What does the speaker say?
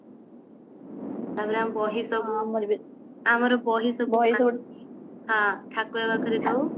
ତାପରେ ଆମେ ବହି ସବୁ ଆମର ବହି ସବୁ ହଁ ଠାକୁର ପାଖକୁ